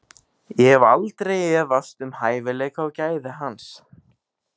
Ég hef aldrei efast um hæfileika og gæði hans.